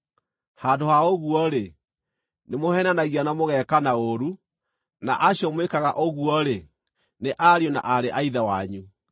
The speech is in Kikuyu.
Handũ ha ũguo-rĩ, nĩmũheenanagia na mũgekana ũũru, na acio mwĩkaga ũguo-rĩ, nĩ ariũ na aarĩ a Ithe wanyu.